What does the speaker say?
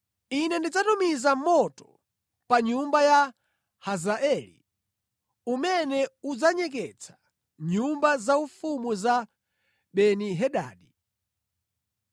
Ine ndidzatumiza moto pa nyumba ya Hazaeli umene udzanyeketsa nyumba zaufumu za Beni-Hadadi.